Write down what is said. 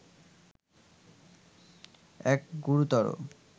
এক গুরুতর